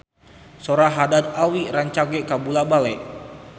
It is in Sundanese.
Sora Haddad Alwi rancage kabula-bale